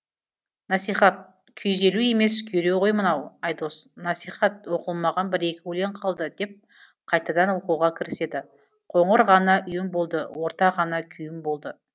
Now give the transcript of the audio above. насихат күйзелу емес күйреу ғой мынау айдос насихат оқылмаған бір екі өлең қалды деп қайтадан оқуға кіріседі қоңыр ғана үйім болды орта ғана күйім болды